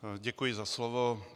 Děkuji za slovo.